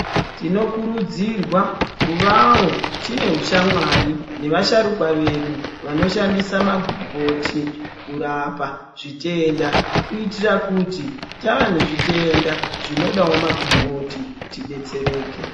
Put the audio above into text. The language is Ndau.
Tinokurudzirwa kuvawo tine hushamwari nevasharukwa vedu vanoshandisa magomboti kurapa zvitenda kuitira kuti tava nezvitenda zvinodawo magomboti tidetsereke.